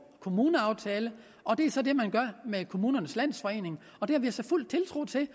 kommuneaftale og det er så det man gør med kommunernes landsforening og det har vi altså fuld tiltro til det